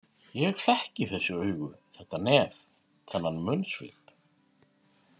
Ég þekkti þessi augu, þetta nef, þennan munnsvip.